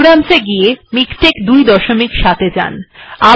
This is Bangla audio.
প্রোগ্রাম e যান মিকটেক্স ২৭ এ যান